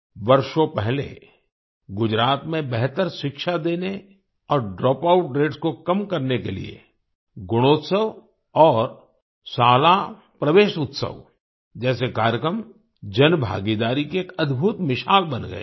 वर्षों पहले गुजरात में बेहतर शिक्षा देने और ड्रॉपआउट रेट्स को कम करने के लिए गुणोत्सव और शाला प्रवेशोत्सव जैसे कार्यक्रम जनभागीदारी की एक अद्भुत मिसाल बन गए थे